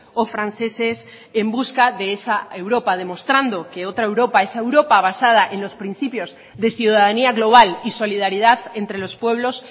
o franceses en busca de esa europa demostrando que otra europa esa europa basada en los principios de ciudadanía global y solidaridad entre los pueblos